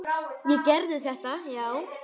Ég gerði þetta, já.